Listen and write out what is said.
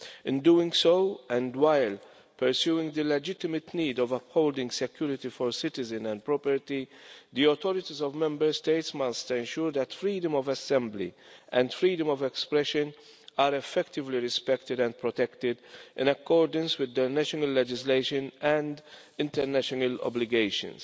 In doing so, and while pursuing the legitimate need to uphold security for citizens and property, the authorities of the Member States must ensure that freedom of assembly and freedom of expression are effectively respected and protected, in accordance with their national legislation and international obligations.